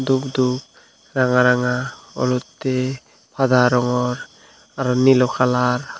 dup dup ranga ranga olottey pada rongor aro nilo kalar.